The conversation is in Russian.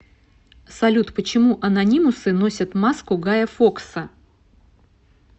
салют почему анонимусы носят маску гая фокса